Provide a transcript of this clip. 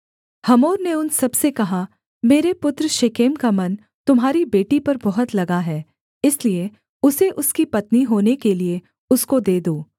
Hamor ने उन सबसे कहा मेरे पुत्र शेकेम का मन तुम्हारी बेटी पर बहुत लगा है इसलिए उसे उसकी पत्नी होने के लिये उसको दे दो